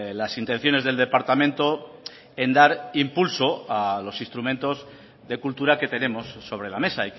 las intenciones del departamento en dar impulso a los instrumentos de cultura que tenemos sobre la mesa